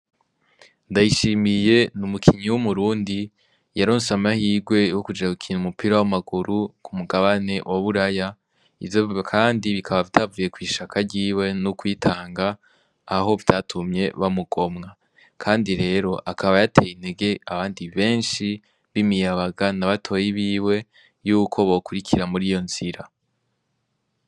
Ndayishimiye n'umukinyi w'umurundi yaronse amahirwe yo kuja gukina umupira w'amaguru k'umugabane wa buraya, ivyo kandi bikaba vyavuye kw'ishaka ryiwe no kwitanga, aho vyarumye bamugomwa, kandi rero akaba yateye intege abandi benshi b'imiyabaga na batoyi biwe yuko bo kurikira muri iyo nzira.